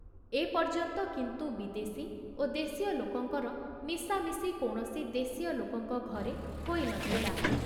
ଏ ପର୍ଯ୍ୟନ୍ତ କିନ୍ତୁ ବିଦେଶୀ ଓ ଦେଶୀୟ ଲୋକଙ୍କର ମିଶାମିଶି କୌଣସି ଦେଶୀୟ ଲୋକଙ୍କ ଘରେ ହୋଇ ନ ଥିଲା।